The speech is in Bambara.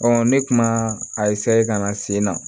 ne kuma a ka na sen na